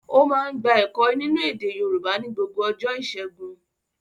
Ó máa ń gba ẹ̀kọ́ nínú èdè Yorùbá ní gbogbo ọjọ́ ìṣẹ́gun.